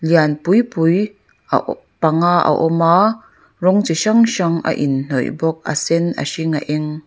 lian pui pui a awh panga a awm a rawng chi hrang hrang a in hnawih bawk a sen a hring a eng.